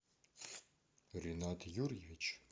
ренат юрьевич